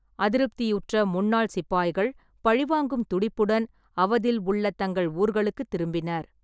அதிருப்தியுற்ற முன்னாள் சிப்பாய்கள் பழிவாங்கும் துடிப்புடன் அவதில் உள்ள தங்கள் ஊர்களுக்குத் திரும்பினர்.